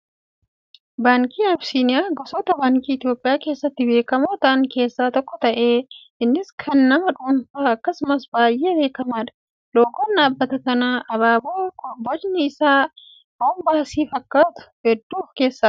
Baankiin Abisiiniyaa gosoota baankii Itoophiyaa keessatti beekamoo ta'an keessaa tokko ta'ee, innis kan nama dhuunfaa akkasumas baay'ee beekamaadha. Loogoon dhaabbata kanaa abaaboo bocni isaa roomboosii fakkaatu hedduu of keessaa qaba.